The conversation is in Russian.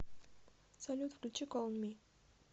салют включи колл он ми